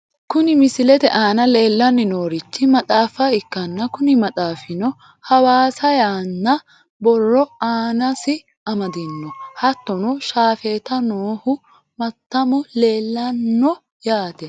Kuni misilete aana leellanni noorichi maxaafa ikkanna kuni maxaafino hawaasa yaanna borro aanasiinni amadino. hattono shaafeeta noohu maattamu leellanno yaate.